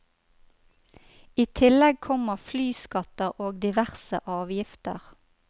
I tillegg kommer flyskatter og diverse avgifter.